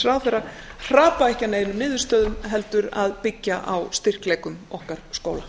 ráðherra hrapa ekki að neinum niðurstöðum heldur að byggja á styrkleikum okkar skóla